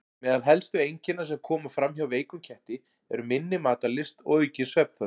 Meðal helstu einkenna sem koma fram hjá veikum ketti eru minni matarlyst og aukin svefnþörf.